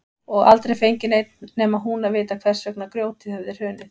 Og aldrei fengi neinn nema hún að vita hvers vegna grjótið hefði hrunið.